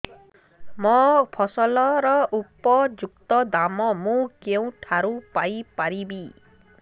ମୋ ଫସଲର ଉପଯୁକ୍ତ ଦାମ୍ ମୁଁ କେଉଁଠାରୁ ପାଇ ପାରିବି